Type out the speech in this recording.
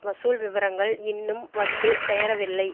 வசூல் விவரங்கள் இன்னும் வந்து சேரவில்லை